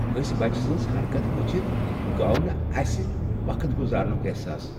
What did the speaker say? ۂسۍ بچہٕ سٕنز حرکتہٕ وچھتھ گوو نہٕ اسہ وقت گُزارنُک احساس۔